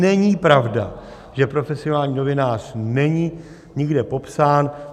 Není pravda, že profesionální novinář není nikde popsán.